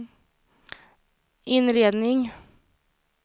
inredning